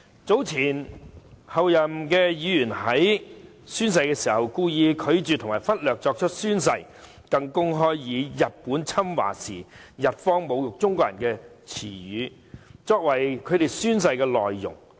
早前有前候任議員宣誓時故意拒絕及忽略作出宣誓，更公開以日本侵華時侮辱中國人的言詞作為宣誓的內容。